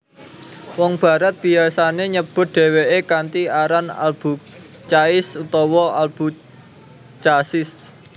Wong Barat biyasane nyebut dheweke kanthi aran AlBucais utawa Albucasis